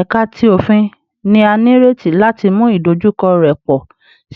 Ẹka ti Ofin ni a nireti lati mu idojukọ rẹ pọ